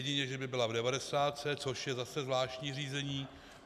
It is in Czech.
Jedině že by byla v devadesátce, což je zase zvláštní řízení.